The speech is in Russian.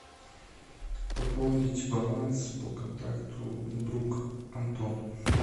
пополнить баланс по контакту друг антон